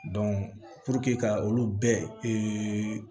ka olu bɛɛ